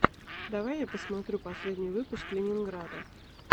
давай я посмотрю последний выпуск ленинграда